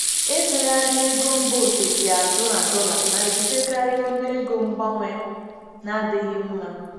Ịtụgharị ego mba ofesi azụ na dollar na-ebutekarị ọnụego mgbanwe na-adịghị mma.